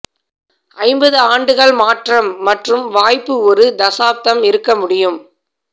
ஐம்பது ஆண்டுகள் மாற்றம் மற்றும் வாய்ப்பு ஒரு தசாப்தம் இருக்க முடியும்